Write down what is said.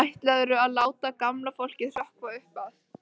Ætlarðu að láta gamla fólkið hrökkva upp af?